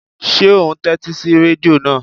Ṣé ò ún tẹ́tí sí rẹ́díò náà?